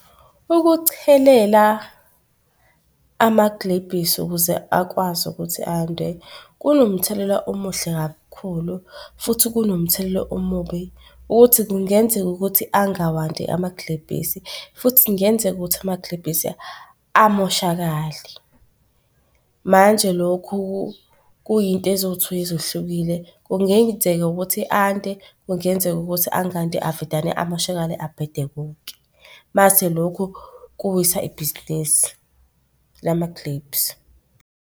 Ukuchelela amagilebhisi ukuze akwazi ukuthi ande, kunomthelela omuhle kakhulu futhi kunomthelela omubi ukuthi kungenzeka ukuthi angawandi amagilebhisi futhi kungenzeka ukuthi amagilebhisi amoshakale. Manje lokhu kuyinto eziwu-two ezehlukile. Kungenzeka ukuthi ande kungenzeka ukuthi angandi avedane amoshekale abhede konke. Mase lokhu kuwisa ibhizinisi .